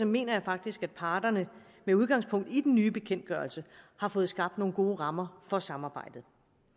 mener jeg faktisk at parterne med udgangspunkt i den nye bekendtgørelse har fået skabt nogle gode rammer for samarbejdet